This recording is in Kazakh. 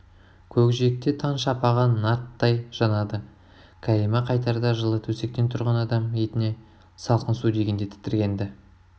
көкжиекте таң шапағы нарттай жанады кәлима қайтарда жылы төсектен тұрған адам етіне салқын су тигенде тітіркенді